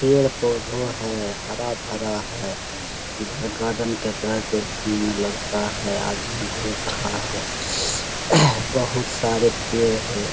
पेड़-पौधो है । हरा-भरा है । इधर गार्डन के तरह देखने में लगता है । आदमी घुर रहा है । बहुत सारे पेड़ हैं ।